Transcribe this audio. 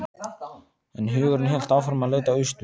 En hugurinn hélt áfram að leita austur.